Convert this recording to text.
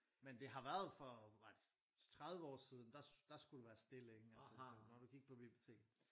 Men det har været for var det 30 år siden der der skulle du være stille ikke altså når du gik på biblioteket